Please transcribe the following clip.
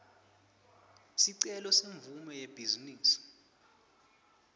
sicelo semvumo yebhizinisi